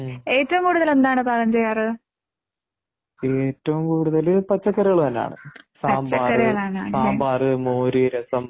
പച്ചക്കറികളാണല്ലേ?